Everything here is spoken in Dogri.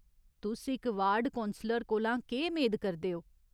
तुस इक वार्ड कौंसलर कोला केह् मेद करदे ओ ?